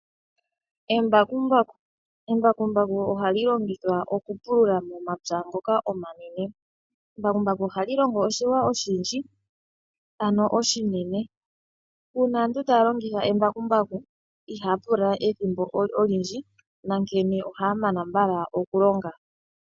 Embakumbaku ohali longithwa okupulula momapya ngoka omanene. Embakumbaku ohali longo oshilwa oshindji ano oshinene. Uuna aantu taya longitha embakumbaku ihaya pula ethimbo olindji nankene ohaya mana mbala okulonga.